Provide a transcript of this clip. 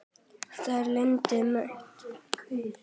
Það er landið mitt!